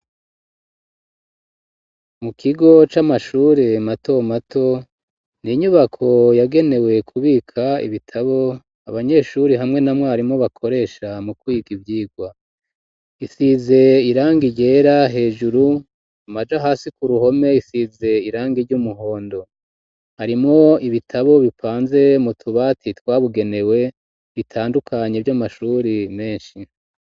Mu kigo c'amashuri mato mato n'inyubako yagenewe kubika ibitabo abanyeshuri hamwe na mwarimo bakoresha mu kwiga ivyirwa isize irangi ryera hejuru amaja hasi ku ruhome isize irangi ry'umuhondo harimwo ibitabo bipanze mu tubati twabugenewe bitandukanye vy'amashuri meshi